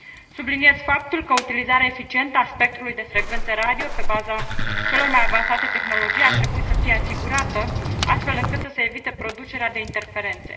Subliniez faptul că utilizarea eficientă a spectrului de frecvență radio pe baza celor mai avansate tehnologii ar trebui să fie asigurată, astfel încât să se evite producerea de interferențe.